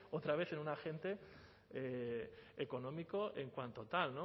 otra vez en un agente económico en cuanto tal